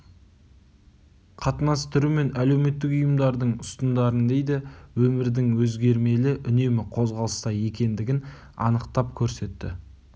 қатынас түрі мен әлеуметтік ұйымдардың ұстындарын дейді өмірдің өзгермелі үнемі қозғалыста екендігін анықтап көрсетті